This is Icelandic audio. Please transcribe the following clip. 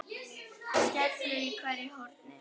skellur í hverju horni.